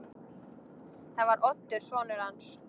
Það var Oddur sonur hans.